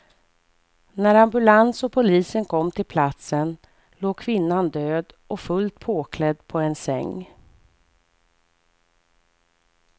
När ambulans och polisen kom till platsen låg kvinnan död och fullt påklädd på en säng.